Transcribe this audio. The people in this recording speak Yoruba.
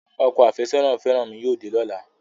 Ọkọ àfẹ́sọ́nà fẹ́rànmi yóò dé lọ́la